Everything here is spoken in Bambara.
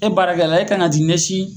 E baarakɛla e kan ka t'i ɲɛsin